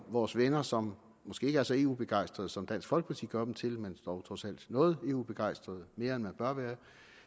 vores venner som måske ikke er så eu begejstrede som dansk folkeparti gør dem til men dog trods alt noget eu begejstrede mere end man bør være